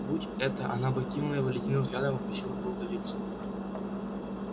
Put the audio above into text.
будь это она бы окинула его ледяным взглядом и попросила бы удалиться